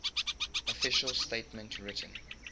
official statement written